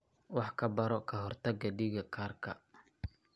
Wax ka baro ka hortagga dhiig karka.